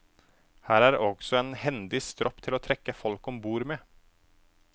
Her er også en hendig stropp til å trekke folk om bord med.